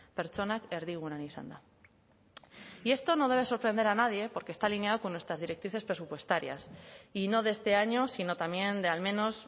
pertsonak erdigunean izanda y esto no debe sorprender a nadie porque está alineado con nuestras directrices presupuestarias y no de este año sino también de al menos